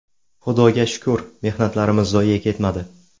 Xudoga shukr, mehnatlarimiz zoye ketmadi.